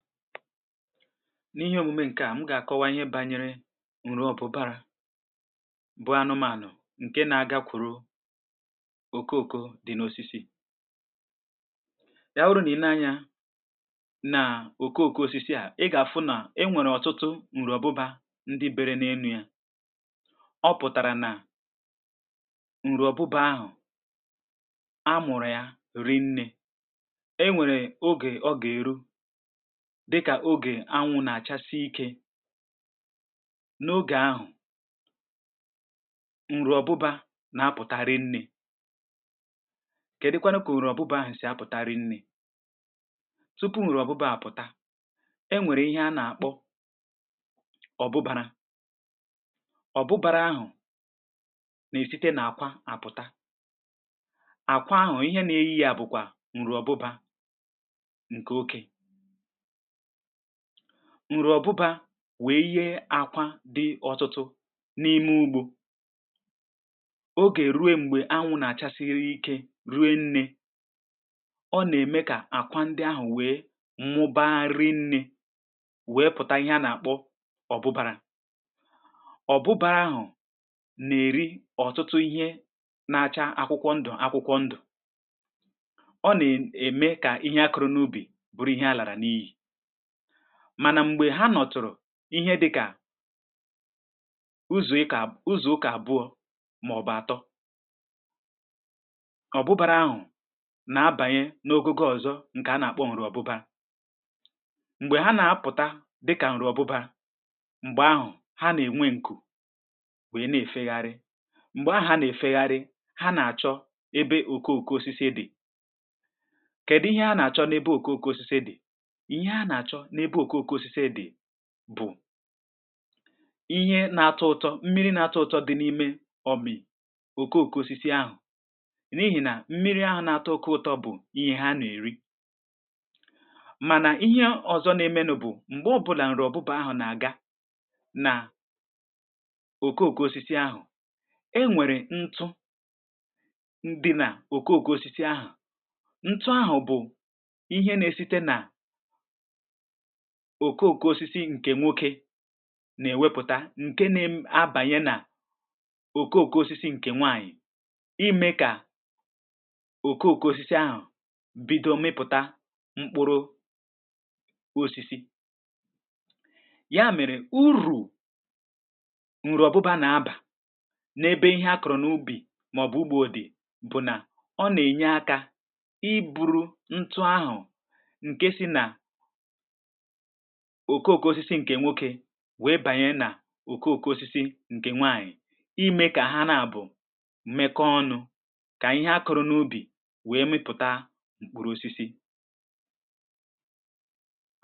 N’ihe omume ǹkẹ̀ à, m gà-àkọwa ihe bȧnyere ǹrụ̀ọ̀bụbȧrà — bụ ànụ̀mànụ ǹkè nà-àgà, kwùrù okooko dị̀ n’osisi yȧ. Ọ̀rụ̇ nà-ile anyȧ n’okooko osisi à, ị gà-àfụ nà e nwèrè ọ̀tụtụ ǹrụ̀ọ̀bụbȧ ndị biri n’énu̇ yȧ. Ọ pụ̀tàrà nà ǹrụ̀ọ̀bụbȧ ahụ̀, a mụ̀rụ̀ ya rinnė.E nwèrè ogè ọ gà-èru, dịkà ogè anwụ̇ nà-àchasị ike. N’ogè ahụ̀, ǹrụ̀ọ̀bụbȧ nà-apụ̀tara nnė; kà adị̇kwanụ kà ǹrụ̀ọ̀bụbȧ ahụ̀ sì apụ̀tara nnė. Tupu ǹrụ̀ọ̀bụbȧ àpụ̀ta, e nwèrè ihe a nà-àkpọ ọ̀bụbȧrà. Ọ̀bụbȧrà ahụ̀ nà-èsite n’àkwa àpụ̀ta; àkwa ahụ̀ ihe nà-ėyė yȧ bụ̀kwà ǹrụ̀ọ̀bụbȧ ǹkè oke ǹrè ọ̀bụbȧ. Wèe ihe àkwa dị̀ ọtụtụ n’ime ugbȯ. Ogè rue, m̀gbè anwụ̇ nà-àcha siri ike rue, nnė, ọ nà-ème kà àkwa ndị ahụ̀ wèe mụbȧgharị nni̇, wèe pụ̀ta ihe a nà-àkpọ ọ̀bụbȧrà. um Ọ̀bụbȧrà ahụ̀ nà-èri ọ̀tụtụ ihe na-acha akwụkwọ ndụ̀. Akwụkwọ ndụ̀, ọ nà-ème kà ihe akụrụ n’ubì bụrụ ihe àlàrà, n’ihì mànà m̀gbè ha nọtụ̀rụ̀ ihe dịkà ụzụ̀ ụkà abụọ̇, màọbụ̀ àtọ. Ọ̀bụbȧrà ahụ̀ nà-abànye n’ogùgò ọ̀zọ — ǹkè a nà-àkpọ ọ̀bụbȧ. M̀gbè hà na-apụ̀ta dịkà ụrụ̀ọ̀bụbȧ, m̀gbè ahụ̀ hà nà-ènwe ǹkụ̀, bụ̀ e nà-èfegharị. M̀gbè ahụ̀ a nà-èfegharị, hà nà-àchọ ebe òkoòko osisi dị̀. Kèdụ ihe a nà-àchọ n’ebe òkoòko osisi dị̀? N’ebe òkoòko osisi e dì bụ̀ ihe na-atọ ụtọ, mmiri̇ na-atọ ụtọ dị̇ n’ime ọ mị̀ òkoòko osisi ahụ̀.N’íhì nà mmiri̇ ahụ̀ na-atọ ụtọ bụ̀ ihe hà nà-èri. Mànà ihe ọzọ n’emenụ bụ̀ m̀gbè ọbụ̇là ǹrụ̀ọ̀bụbȧ ahụ̀ nà-àga nà òkoòko osisi ahụ̀, um e nwèrè ntụ̀ ndị nà òkoòko osisi ahụ̀. Ntụ̀ ahụ̀ bụ̀ ihe nà-ėsite nà òkoòko osisi ǹkè nwoke na-èwepụ̀ta; ǹkè na-abànyè nà òkoòko osisi ǹkè nwànyị̀ imė kà òkoòko osisi ahụ̀ bido mmịpụ̀ta mkpụrụ osisi yà. Mèrè urù, ǹrụ̀ọ̀bụbȧ nà-abà n’ebe ihe a kọ̀rọ̀ n’ubì, màọ̀bụ̀ ugbo dì. Bụ̀ nà ọ nà-ènye akȧ ị̀ bụrụ ntụ̀ ahụ̀, ǹkè si nà webanye nà okooko osisi ǹkè nwànyị̀ imė, kà hà na-abụ̀ mmekọ̇ ọnụ̇, kà ihe akọ̀rọ̀ n’ubì wèe mịpụ̀ta mkpụrụ osisi.